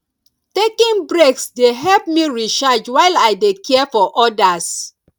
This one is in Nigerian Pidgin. taking breaks dey help me recharge while i dey care for others